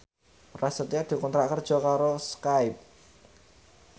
Prasetyo dikontrak kerja karo Skype